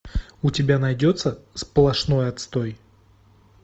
у тебя найдется сплошной отстой